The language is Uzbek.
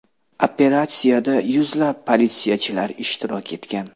Operatsiyada yuzlab politsiyachilar ishtirok etgan.